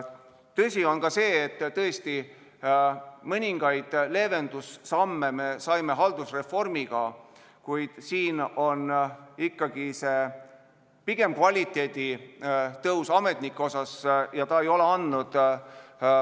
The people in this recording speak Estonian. Tõsi on see, et me tõesti mõningaid leevendussamme saime teha haldusreformiga, kuid siin on ikkagi taga pigem ametnike kvalifikatsiooni tõus.